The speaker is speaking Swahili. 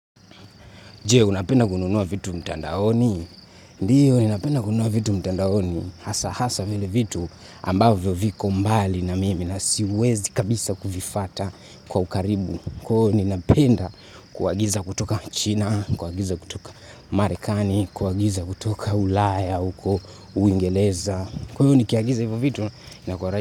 Je, unapenda kununua vitu mtandaoni? Ndiyo, ninapenda kununua vitu mtandaoni. Hasa, hasa vile vitu ambavyo viko mbali na mimi na siwezi kabisa kuvifata kwa ukaribu. Kwa hio ninapenda kuagiza kutoka Uchina, kuagiza kutoka Marekani, kuagiza kutoka Ulaya uko, Uingereza. Kwa hivyo, nikiagiza hivyo vitu.